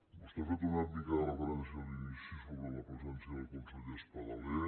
vostè ha fet una mica de referència a l’inici sobre la presència del conseller espadaler